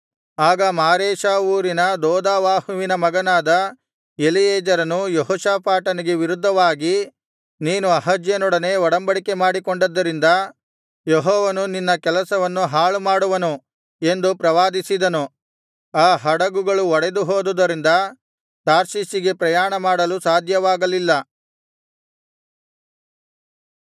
ಆಗ ಮಾರೇಷಾ ಊರಿನ ದೋದಾವಾಹುವಿನ ಮಗನಾದ ಎಲೀಯೆಜರನು ಯೆಹೋಷಾಫಾಟನಿಗೆ ವಿರುದ್ಧವಾಗಿ ನೀನು ಅಹಜ್ಯನೊಡನೆ ಒಡಬಂಡಿಕೆ ಮಾಡಿಕೊಂಡದ್ದರಿಂದ ಯೆಹೋವನು ನಿನ್ನ ಕೆಲಸವನ್ನು ಹಾಳು ಮಾಡುವನು ಎಂದು ಪ್ರವಾದಿಸಿದನು ಆ ಹಡುಗುಗಳು ಒಡೆದು ಹೋದುದರಿಂದ ತಾರ್ಷೀಷಿಗೆ ಪ್ರಯಾಣ ಮಾಡಲು ಸಾಧ್ಯವಾಗಲಿಲ್ಲ